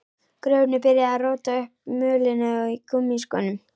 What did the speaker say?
Grjóni byrjaði að róta upp mölinni með gúmmískónum.